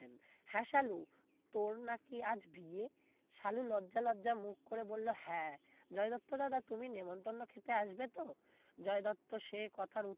হ্যাঁ সালু তোর নাকি আজ বিয়ে সালু লজ্জা লজ্জা মুখ করে বলল হ্যাঁ জয় দত্ত দাদা তুমি নেমন্তন্ন খেতে আসবে তো জয় দত্ত সে কথার উত্তরে